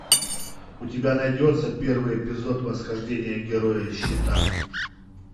у тебя найдется первый эпизод восхождение героя щита